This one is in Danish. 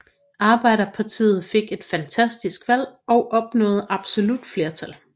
Arbejderpartiet fik et fantastisk valg og opnåede absolut flertal